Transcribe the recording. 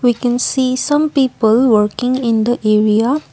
we can see some people working in the area.